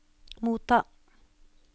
motta